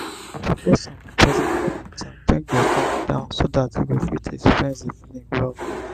focus on di present moment and bring your mind down so dat you go fit expereince di feeling well